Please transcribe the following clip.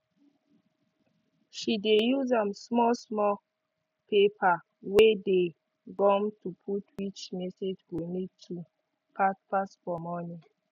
she dey use um small small paper wey dey gum to put which message go need do fast fast for morning